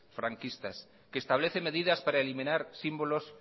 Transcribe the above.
franquistas que establece medidas para eliminar símbolos